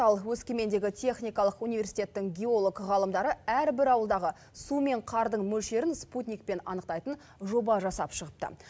ал өскемендегі техникалық университеттің геолог ғалымдары әрбір ауылдағы су мен қардың мөлшерін спутникпен анықтайтын жоба жасап шығыпты